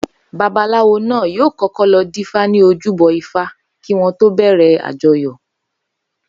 Babaláwo náà yóò kó̩kó̩ lo̩ dífá ní ojúbo̩ ifá kí wó̩n tó bè̩rè̩ àjo̩yò̩